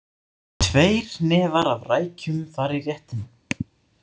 Tveir hnefar af rækjum fara í réttinn.